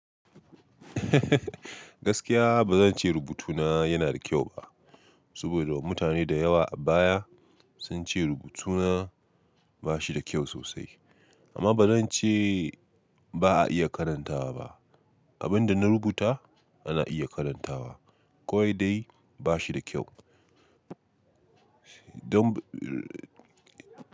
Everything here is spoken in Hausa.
Gaskiya ba zan ce rubutuna yana da kyau ba, saboda mutane da yawa a baya sun ce rubutuna ba shi da kyau sosai. Amma ba zan ce ba a iya karantawa ba. Abin da na rubuta ana iya karantawa, kawai dai ba shi da kyau. Don.